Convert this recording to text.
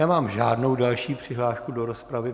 Nemám žádnou další přihlášku do rozpravy.